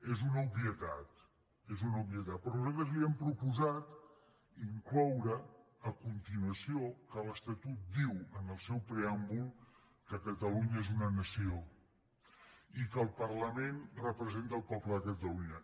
és una obvietat és una obvietat però nosaltres li hem proposat incloure a continuació que l’estatut diu en el seu preàmbul que catalunya és una nació i que el parlament representa el poble de catalunya